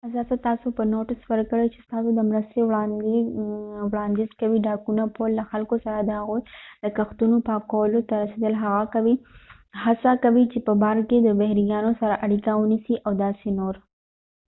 اساسا تاسو به نوټس ورکوی چې ستاسو د مرستې وړاندیز کوي ډاکونه پول له خلکو سره د هغوی د کښتونو پاکولو ته رسیدل هڅه کوي چې په بار کې د بحريانو سره اړیکه ونیسي او داسې نور